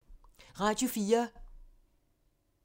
Radio 4